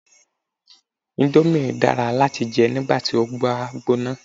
Indomie dára láti jẹ nígbàti o bá gbóná